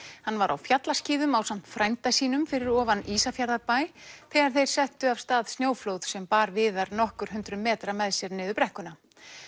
hann var á fjallaskíðum ásamt frænda sínum fyrir ofan Ísafjarðarbæ þegar þeir settu af stað snjóflóð sem bar Viðar nokkur hundruð metra með sér niður brekkuna